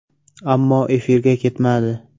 Ammo efirga ketmadi.